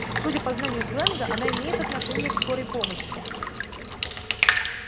судя по знанию сленга она имеет отношение к скорой помощи